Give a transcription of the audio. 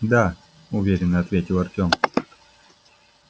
да уверенно ответил артём